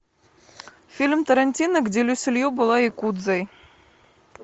фильм тарантино где люси лью была якудзой